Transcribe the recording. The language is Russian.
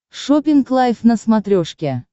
шоппинг лайф на смотрешке